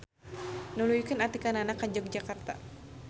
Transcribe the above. Nuluykeun atikanana ka Yogyakarta.